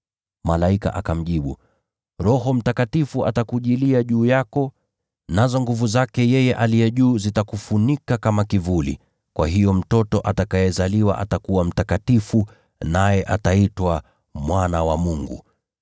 Malaika akamjibu, “Roho Mtakatifu atakujilia juu yako, nazo nguvu zake Yeye Aliye Juu Sana zitakufunika kama kivuli. Kwa hiyo mtoto atakayezaliwa atakuwa mtakatifu, naye ataitwa Mwana wa Mungu.